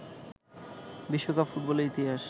বিশ্বকাপ ফুটবলের ইতিহাস